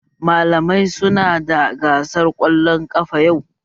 Malamai su na da gasar kwallon ƙafa yau